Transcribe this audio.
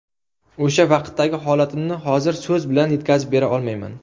O‘sha vaqtdagi holatimni hozir so‘z bilan yetkazib bera olmayman.